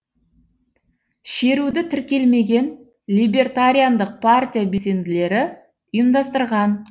шеруді тіркелмеген либертариандық партия белсенділері ұйымдастырған